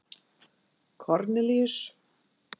Kornelíus